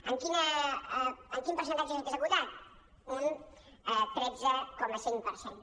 en quin percentatge s’ha executat un tretze coma cinc per cent